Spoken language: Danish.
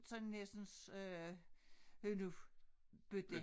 Sådan hersens øh hønnubøtte